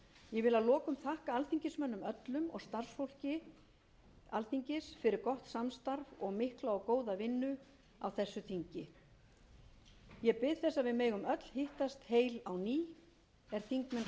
ég vil að lokum þakka alþingismönnum öllum og starfsfólki alþingis fyrir gott samstarf og mikla og góða vinnu á þessu þingi ég bið þess að við megum öll hittast heil á ný